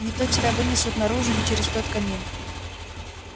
не то тебя вынесут наружу не через тот камин